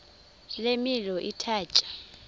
le milo ithatya